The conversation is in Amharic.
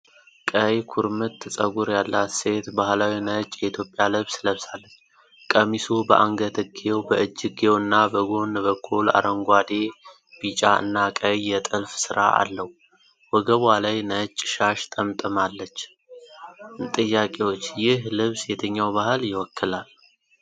ቀይ ኩርምት ፀጉር ያላት ሴት ባህላዊ ነጭ የኢትዮጵያ ልብስ ለብሳለች። ቀሚሱ በአንገትጌው፣ በእጅጌው እና በጎን በኩል አረንጓዴ፣ ቢጫ እና ቀይ የጥልፍ ስራ አለው። ወገቧ ላይ ነጭ ሻሽ ጠምጣለች። ጥያቄዎች: ይህ ልብስ የትኛው ባህል ይወክላል?